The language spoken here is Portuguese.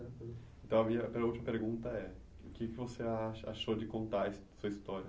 Então a minha, para a última pergunta é o que que você acha, achou de contar a sua história?